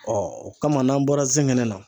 o kama n'an bɔra zɛngɛnɛ na